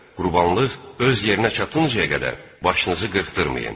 Qurbanlıq öz yerinə çatıncayə qədər başınızı qırxdırmayın.